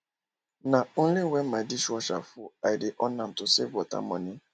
na only when my dishwasher full i dey on am to save water money